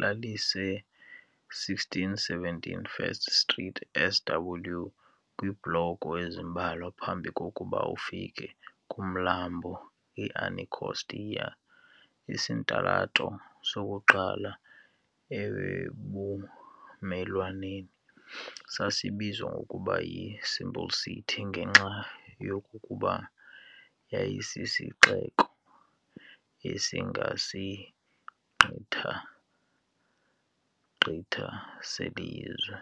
lalise1617 First Street SW, kwiibhloko ezimbalwa phambi kokuba ufike kumlambo iAnacostia. Isitalato sokuqala ebumelwaneni sasibizwa ngokuba yi"Simple City" ngenxa yokokuba yayisisixeko"esingasigqitha gqitha selizwe".